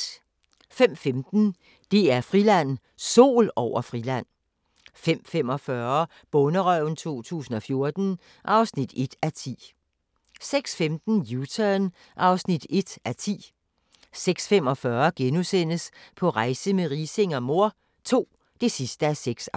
05:15: DR-Friland: Sol over Friland 05:45: Bonderøven 2014 (1:10) 06:15: U-Turn (1:10) 06:45: På rejse med Riising og mor II (6:6)*